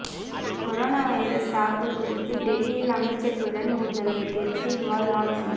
corona virus தாக்கல் குறித்து டெல்லியில் அமைச்சர்களுடன் முதல்வர் கெஜ்ரிவால் ஆலோசனை